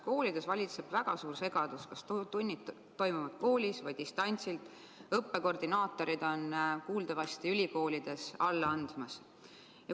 Koolides valitseb väga suur segadus, kas tunnid toimuvad koolis või distantsilt, ülikoolide õppekoordinaatorid on kuuldavasti alla andmas.